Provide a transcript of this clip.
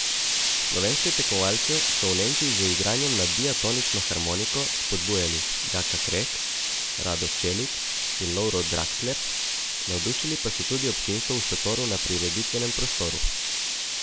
Slovenske tekmovalce so v Nemčiji z igranjem na diatonično harmoniko spodbujali Jaka Krek, Rado Čelik in Lovro Draksler, navdušili pa so tudi občinstvo v šotoru na prireditvenem prostoru.